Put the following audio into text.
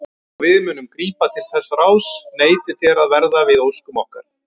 Og við munum grípa til þess ráðs neitið þér að verða við óskum okkar.